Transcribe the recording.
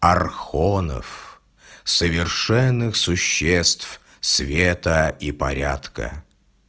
архонов совершенных существ света и порядка